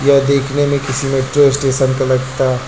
ये देखने में किसी मेट्रो स्टेशन का लगता--